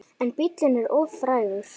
En bíllinn er of frægur.